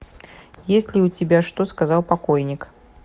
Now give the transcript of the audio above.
есть ли у тебя что сказал покойник